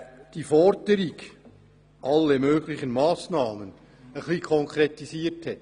Damit hat er die Forderung «alle möglichen Massnahmen» konkretisiert.